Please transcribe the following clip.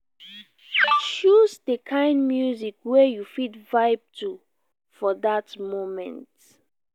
choose de kind music wey you fit vibe to for that moment